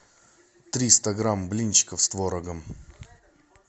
триста грамм блинчиков с творогом